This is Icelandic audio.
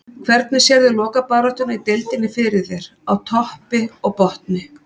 Hvernig sérðu lokabaráttuna í deildinni fyrir þér, á toppi og botni?